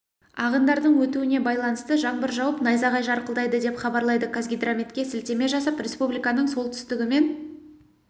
ағындардың өтуіне байланысты жаңбыр жауып найзағай жарқылдайды деп хабарлайды қазгидрометке сілтеме жасап республиканың солтүстігі мен